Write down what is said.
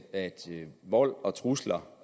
at vold og trusler